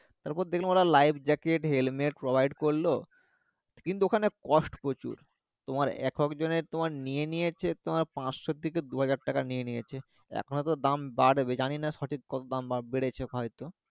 তারপর দেখলাম ওরা life jacket, helmet, provide করলো, কিন্তু ওখানে কষ্ট প্রচুর, তোমার এক একজনে তোমার নিয়ে নিয়েছে তোমার পাঁচশো থেকে দুহাজার টাকা নিয়ে নিয়েছে এখন তো দাম বাড়বে, জানিনা সঠিক কত দাম বেড়ে বেড়েছে হয়ত